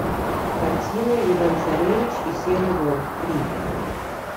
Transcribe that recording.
картина иван царевич и серый волк три